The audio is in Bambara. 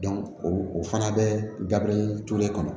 o fana bɛ dabile tule kɔnɔ